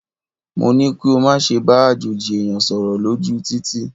Mo ní kí o má ṣe bá àjòjì ẹ̀yàn sọ̀rọ̀ lójú u títì.!